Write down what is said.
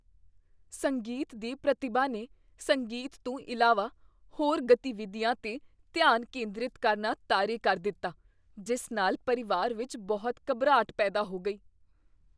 ਸੰਗੀਤ ਦੀ ਪ੍ਰਤਿਭਾ ਨੇ ਸੰਗੀਤ ਤੋਂ ਇਲਾਵਾ ਹੋਰ ਗਤੀਵਿਧੀਆਂ 'ਤੇ ਧਿਆਨ ਕੇਂਦਰਤ ਕਰਨਾ ਤਾਰੇ ਕਰ ਦਿੱਤਾ ਜਿਸ ਨਾਲ ਪਰਿਵਾਰ ਵਿੱਚ ਬਹੁਤ ਘਬਰਾਹਟ ਪੈਦਾ ਹੋ ਗਈ।